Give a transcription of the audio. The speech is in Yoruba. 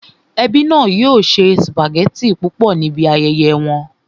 Ẹbí náà yóò se sùpàgẹ́tì púpọ̀ níbi ayẹyẹ wọn